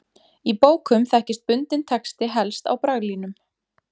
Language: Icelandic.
Í bókum þekkist bundinn texti helst á braglínum.